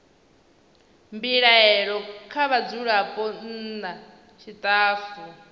mbilaelo kha vhadzulapo nna tshitafu